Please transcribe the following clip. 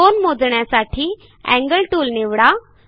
कोन मोजण्यासाठी angle tool निवडा